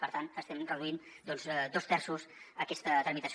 per tant estem reduint doncs dos terços aquesta tramitació